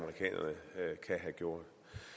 nogen